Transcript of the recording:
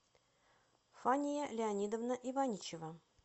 фания леонидовна иваничева